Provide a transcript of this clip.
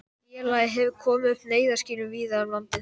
Kannski hún hafi átt örðugt uppdráttar.